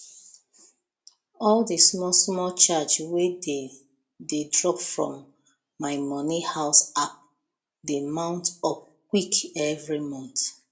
all the smallsmall charge wey dey dey drop from my money house app dey mount up quick every month